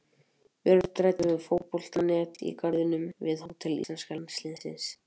Björn ræddi við Fótbolta.net í garðinum við hótel íslenska landsliðsins.